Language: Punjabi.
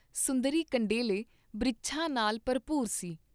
ਸੁੰਦਰੀ ਕੰਡੇਲੇ ਬ੍ਰਿਛਾਂ ਨਾਲ ਭਰਪੂਰ ਸੀ।